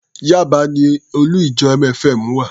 Yaba ni olú-ìjọ MFM wà.